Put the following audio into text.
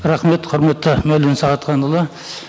рахмет құрметті мәулен сағатханұлы